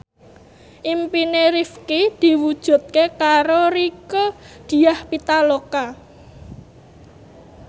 impine Rifqi diwujudke karo Rieke Diah Pitaloka